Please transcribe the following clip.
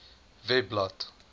webblad